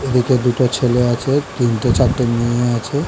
এদিকে দুটো ছেলে আছে তিনটে চারটে মেয়ে আছে।